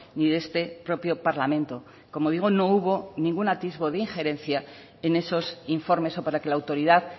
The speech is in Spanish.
ni de este propio parlamento como digo no hubo ningún atisbo de injerencia en esos informes o para que la autoridad